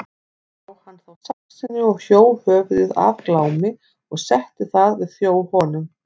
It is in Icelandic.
Brá hann þá saxinu og hjó höfuð af Glámi og setti það við þjó honum.